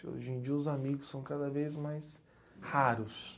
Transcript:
Hoje em dia os amigos são cada vez mais raros.